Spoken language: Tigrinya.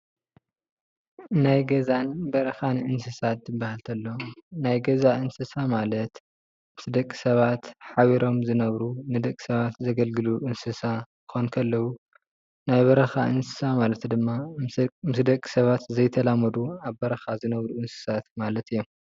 ናይ ገዛን በረኻን እንስሳት እንትበሃል ተሎ ናይ ገዛ እንስሳ ማለት ምስ ደቂ ሰባት ሓቢሮም ዝነብሩ ንደቂ ሰባት ዘገልግሉ እንስሳ ክኾኑ ከለዉ፣ ናይ በረኻ እንስሳ ማለት ድማ ምስ ደቂ ሰባት ዘይተላመዱ ኣብ በረኻ ዝነብሩ እንስሳት ማለት እዮም፡፡